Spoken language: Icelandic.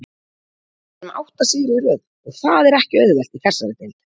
Við erum með átta sigra í röð og það er ekki auðvelt í þessari deild.